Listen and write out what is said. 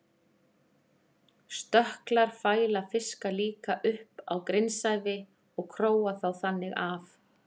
Stökklar fæla fiska líka upp á grunnsævi og króa þá þannig af.